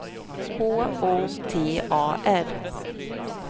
H O T A R